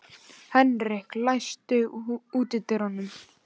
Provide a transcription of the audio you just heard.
Henrik, læstu útidyrunum.